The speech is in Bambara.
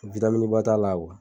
Vitaminiba t'a la.